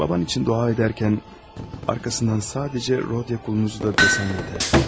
Atan üçün dua edərkən arxasından sadəcə Rodiya qulunu da desən, yetər.